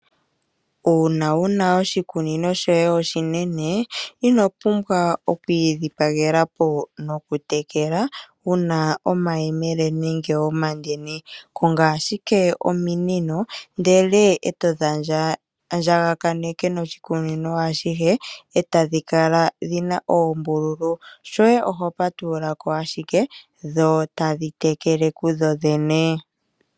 Uuna wuna oshikunino shoye oshinene inopumbwa okwii dhipagela po noku tekela wuna omayemele nenge omandini, Konga ashike ominino ndele eto dhi andjaganeka noshikunino ashihe etadhi kala dhina oombululu, shoye oku patulula ko ashike dho etadhi tekele kudho dhene.